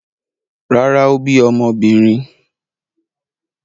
Rárá, ó bí ọmọbìnrin.